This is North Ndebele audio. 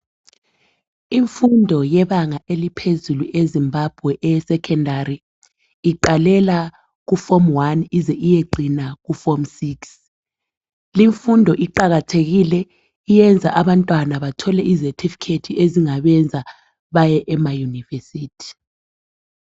Imfundo eyebanga eliphezulu eZimbabwe eyesekhondari iqalela ku"form 1" ize iyecina ku"form 6".Limfundo iqakathekile, iyenza abantwana bathole izethifikhethi ezingabenza baye emaYunivesi.